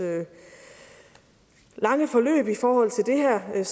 lange forløb i forhold til det her er